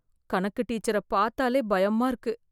கணக்கு டீச்சர பாத்தாலே பயமா இருக்கு